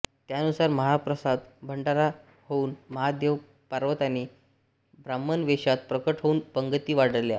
त्यानुसार महाप्रसाद भंडारा होऊन महादेवपार्वतीने ब्राम्हण वेषात प्रकट होऊन पंगती वाढल्या